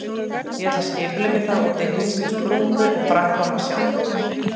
Ég ætla að skipuleggja það út í hinstu sprungu, og framkvæma sjálf.